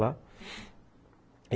Lá.